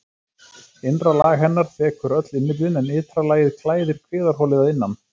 Innra lag hennar þekur öll innyflin en ytra lagið klæðir kviðarholið að innan.